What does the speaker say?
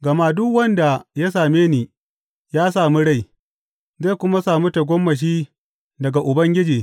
Gama duk wanda ya same ni ya sami rai zai kuma sami tagomashi daga Ubangiji.